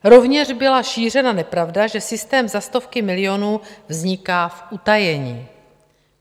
Rovněž byla šířena nepravda, že systém za stovky milionů vzniká v utajení.